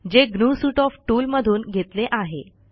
जे GNU suite of tool मधून घेतले आहे